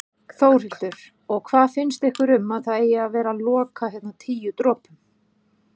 Þórhildur: Og hvað finnst ykkur um að það eigi að fara loka hérna Tíu dropum?